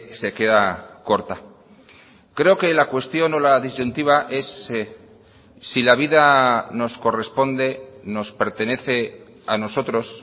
se queda corta creo que la cuestión o la disyuntiva es si la vida nos corresponde nos pertenece a nosotros